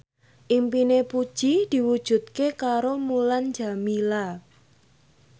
impine Puji diwujudke karo Mulan Jameela